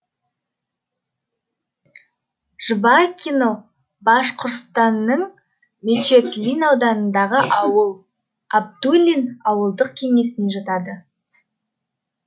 жвакино башқұртстанның мечетлин ауданындағы ауыл әбдуллин ауылдық кеңесіне жатады